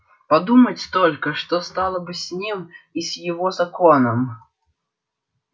подумать только что стало бы с ним и с его законом